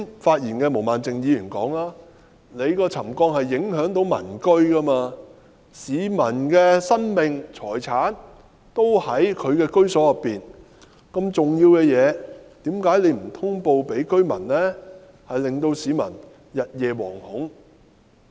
一如毛孟靜議員剛才所說，沉降是會影響民居的，市民的生命和財產均在居所內，如此重要的事情，何以不向居民通報，致令市民日夜惶恐呢？